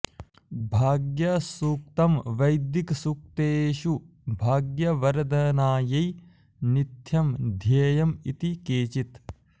भाग्यसूक्तम् वैदिक सूक्तेषु भाग्य वर्धानायै निथ्यम ध्येयम् इति केचित्